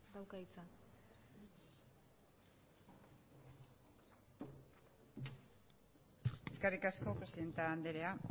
dauka hitza eskerrik asko presidente andrea